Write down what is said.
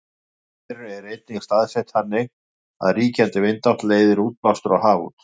iðjuverin eru einnig staðsett þannig að ríkjandi vindátt leiðir útblástur á haf út